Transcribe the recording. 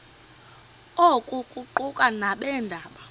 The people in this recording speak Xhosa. oku kuquka nabeendaba